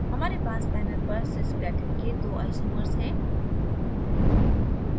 हमारे पास panel पर cisplatin के दो isomers isomers हैं